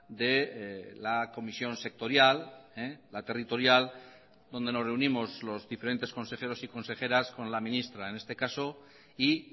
de la comisión sectorial la territorial donde nos reunimos los diferentes consejeros y consejeras con la ministra en este caso y